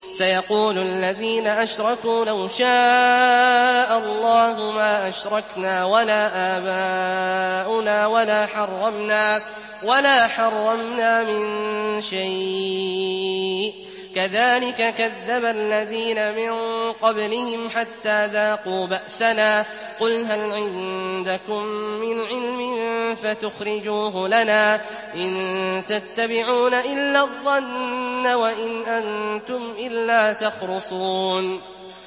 سَيَقُولُ الَّذِينَ أَشْرَكُوا لَوْ شَاءَ اللَّهُ مَا أَشْرَكْنَا وَلَا آبَاؤُنَا وَلَا حَرَّمْنَا مِن شَيْءٍ ۚ كَذَٰلِكَ كَذَّبَ الَّذِينَ مِن قَبْلِهِمْ حَتَّىٰ ذَاقُوا بَأْسَنَا ۗ قُلْ هَلْ عِندَكُم مِّنْ عِلْمٍ فَتُخْرِجُوهُ لَنَا ۖ إِن تَتَّبِعُونَ إِلَّا الظَّنَّ وَإِنْ أَنتُمْ إِلَّا تَخْرُصُونَ